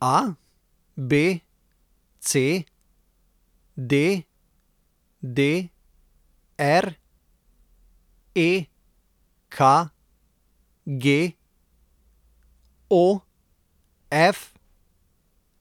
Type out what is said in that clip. ABC, DDR, EKG, OF,